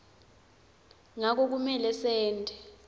ngako kumele sente